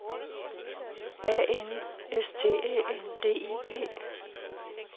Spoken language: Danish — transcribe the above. A N S T Æ N D I G